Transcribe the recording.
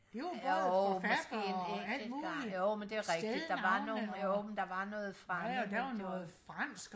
jo måske en enkelt gang jo men det er rigtigt der var nogen jo der var noget fremmed